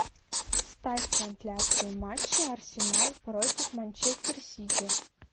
ставь трансляцию матча арсенал против манчестер сити